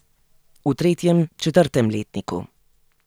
V tretjem, četrtem letniku.